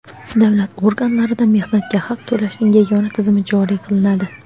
davlat organlarida mehnatga haq to‘lashning yagona tizimi joriy qilinadi.